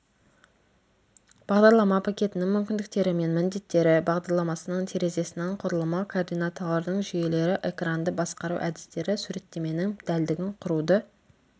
бағдарлама пакетінің мүмкіндіктері мен міндеттері бағдарламасының терезесінің құрылымы координаталардың жүйелері экранды басқару әдістері суреттеменің дәлдігін құруды